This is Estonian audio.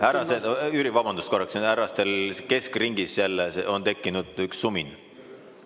Härrased – Jüri, vabandust korraks –, härrastel keskringis, jälle on tekkinud sumin.